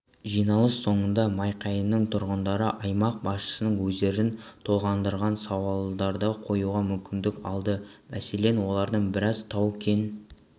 жиналыс соңында майқайың тұрғындары аймақ басшысына өздерін толғандырған сауалдарды қоюға мүмкіндік алды мәселен олардың біразы тау-кен